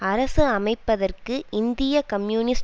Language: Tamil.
அரசு அமைப்பதற்கு இந்திய கம்யூனிஸ்ட்